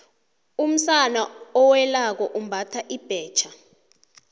umsana owelako umbatha ibhetjha